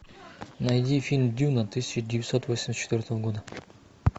найди фильм дюна тысяча девятьсот восемьдесят четвертого года